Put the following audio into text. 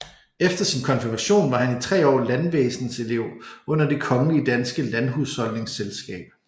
Efter sin konfirmation var han i tre år landvæsenselev under Det kongelige danske Landhusholdningsselskab